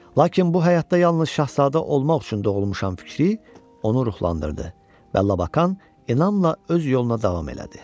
Lakin bu həyatda yalnız şahzadə olmaq üçün doğulmuşam fikri onu ruhlandırdı və Lakan inamla öz yoluna davam elədi.